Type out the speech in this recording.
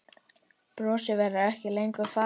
Brosið verður ekki lengur falið.